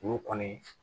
Olu kɔni